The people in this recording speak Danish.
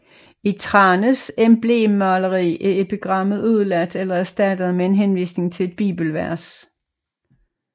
I Thranes emblemmaleri er epigrammet udeladt eller erstattet med en henvisning til et bibelvers